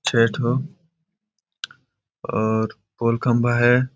छे ठो और पोल -खम्बा हैं ।